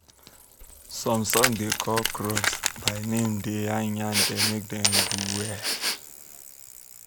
some songs dey call crops um by um name de yan yan dem make dem do well